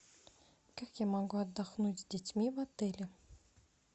как я могу отдохнуть с детьми в отеле